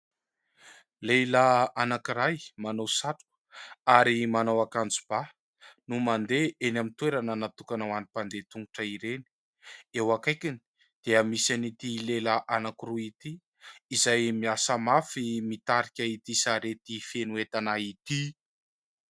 Lehilahy anankiray manao satroka ary manao akanjoba no mandeha eny amin'ny toerana natokana ho an'ny mpandeha tongotra ireny. Eo akaikiny dia misy ity lehilahy anankiroa ity izay miasa mafy mitarika ity sarety feno entana ity.